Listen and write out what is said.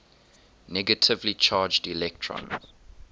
negatively charged electrons